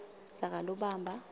sakalobamba